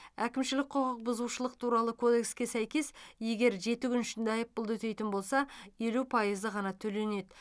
әкімшілік құқық бұзушылық туралы кодекске сәйкес егер жеті күн ішінде айыппұлды өтейтін болса елу пайызы ғана төленеді